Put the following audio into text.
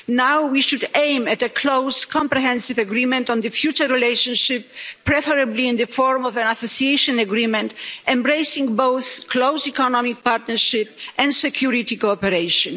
Now we should aim at a close comprehensive agreement on the future relationship, preferably in the form of an association agreement embracing both close economic partnership and security cooperation.